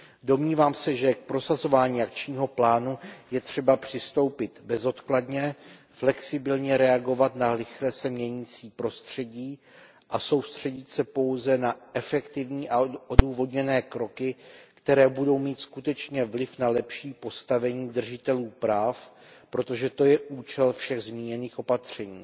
Domnívám se, že k prosazování akčního plánu je třeba přistoupit bezodkladně, flexibilně reagovat na rychle se měnící prostředí a soustředit se pouze na efektivní a odůvodněné kroky, které budou mít skutečně vliv na lepší postavení držitelů práv, protože to je účel všech zmíněných opatření,